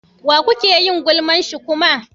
Wa kuke yin gulman shi kuma?